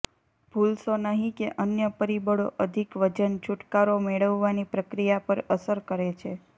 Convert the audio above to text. ભૂલશો નહીં કે અન્ય પરિબળો અધિક વજન છૂટકારો મેળવવાની પ્રક્રિયા પર અસર કરે છે